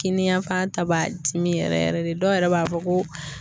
Kini yanfan ta b'a dimi yɛrɛ yɛrɛ de dɔw yɛrɛ b'a fɔ ko